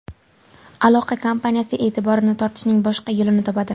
aloqa kompaniyasi e’tiborini tortishning boshqa yo‘lini topadi.